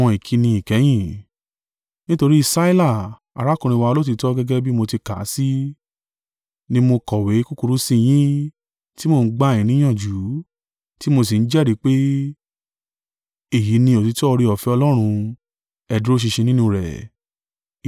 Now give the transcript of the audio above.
Nítorí Sila, arákùnrin wa olóòtítọ́ gẹ́gẹ́ bí mo ti kà á sí, ni mo kọ̀wé kúkúrú sí i yín, tí mo ń gbà yín níyànjú, tí mo sì ń jẹ́rìí pé, èyí ni òtítọ́ oore-ọ̀fẹ́ Ọlọ́run: ẹ dúró ṣinṣin nínú rẹ̀.